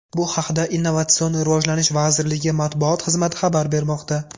Bu haqda Innovatsion rivojlanish vazirligi matbuot xizmati xabar bermoqda .